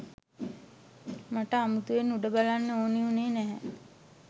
මට අමුතුවෙන් උඩ බලන්න ඕන වුණේ නැහැ